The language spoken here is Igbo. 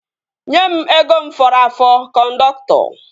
Nye mụ ego m fọrọ afọ kọndọktọ!